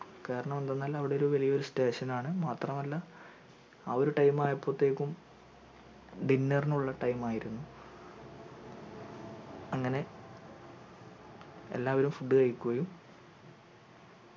കാരണം എന്തന്നാൽ അവിടൊരു വലിയ station ആണ് മാത്രമല്ല ആ ഒരു time ആയപോത്തേക്കും dinner നുള്ള time ആയിരുന്നു അങ്ങനെ എല്ലാവരും food കഴിക്കുകയും